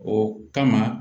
O kama